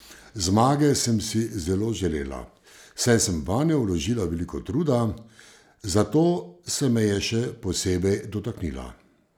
Zmage sem si zelo želela, saj sem vanjo vložila veliko truda, zato se me je še posebej dotaknila.